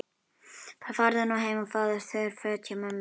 Farðu nú heim og fáðu þurr föt hjá mömmu þinni.